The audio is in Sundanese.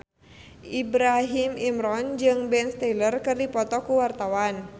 Ibrahim Imran jeung Ben Stiller keur dipoto ku wartawan